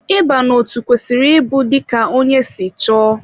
Ịba n'otu kwesịrị ịbụ dika ónyé si chọọ.